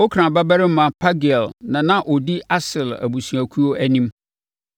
Okran babarima Pagiel na na ɔdi Aser abusuakuo anim.